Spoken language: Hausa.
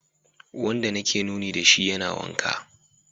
Wanda nake nuni da shi yana waka